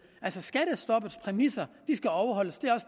altså skattestoppets præmisser skal overholdes